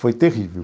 Foi terrível.